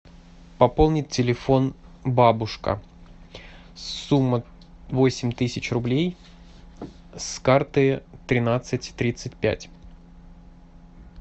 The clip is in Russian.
пополнить телефон бабушка сумма восемь тысяч рублей с карты тринадцать тридцать пять